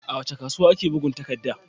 A wace kasuwa ake bugun takadda?